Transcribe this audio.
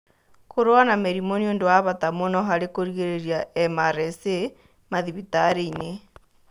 Kũrũa na mĩrimũ nĩ ũndũ wa bata mũno harĩ kũrigĩrĩria MRSA mathĩbĩtarĩ-inĩ.